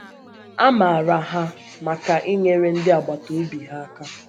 A mǎrà hà hà maka inyèrè ndị agbàtà ọ̀bì hà àkà.